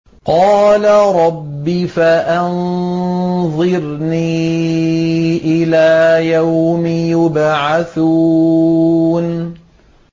قَالَ رَبِّ فَأَنظِرْنِي إِلَىٰ يَوْمِ يُبْعَثُونَ